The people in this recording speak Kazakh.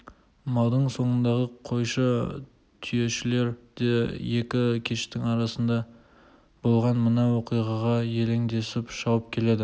малдың соңындағы қойшы түйешілер де екі кештің арасында болған мына оқиғаға елеңдесіп шауып келеді